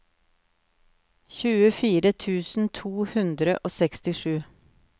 tjuefire tusen to hundre og sekstisju